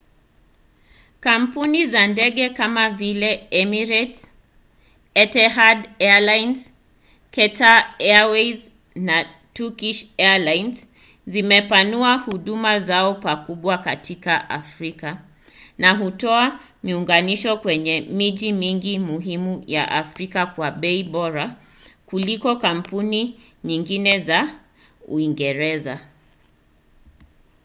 kampuni za ndege kama vile emirates etihad airways qatar airways na turkish airlines zimepanua huduma zao pakubwa katika afrika na hutoa miunganisho kwenye miji mingi muhimu ya afrika kwa bei bora kuliko kampuni nyingine za uingereza